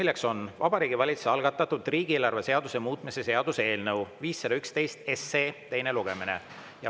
See on Vabariigi Valitsuse algatatud riigieelarve seaduse muutmise seaduse eelnõu 511 teine lugemine.